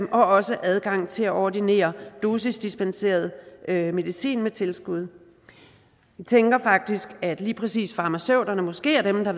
også adgang til at ordinere dosisdispenseret medicin med tilskud jeg tænker faktisk at lige præcis farmaceuterne måske er dem der